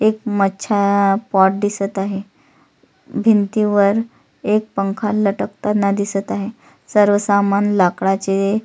एक मच्छा आ पॉट दिसत आहे अ भिंतीवर एक पंखा लटकताना दिसत आहे सर्व सामान लाकडाचे --